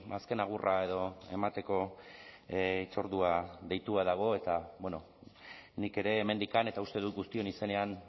azken agurra edo emateko hitzordua deitua dago eta nik ere hemendik eta uste dut guztion izenean